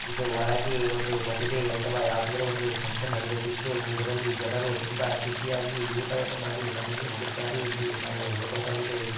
ಇದು ಒಳಗೆ ಒಂದು ಮದುವೆ ಅಥವಾ ಯಾವುದಾದರೊಂದು ಫನ್ಕ್ಷನ್ ನಡೆಯುತ್ತಿದ್ದು ಇದರಲ್ಲಿ ಜನರು ತುಂಬಾ ಖುಷಿಯಾಗಿ ಊಟವನ್ನು ಮಾಡಿ ಮನೆಗೆ ಹೋಗುತ್ತಾರೆ ಎಂದು ನಾವು ಹೇಳಬಹುದಾಗಿದೆ.